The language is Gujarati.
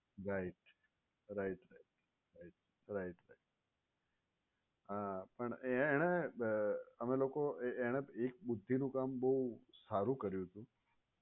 right right right હા પણ એ એણે અમે લોકો એ એણે એક બુદ્ધિનું કામ બોવ સારું કર્યું હતું.